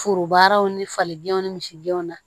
Forobaraw ni falidenw ni misidenw na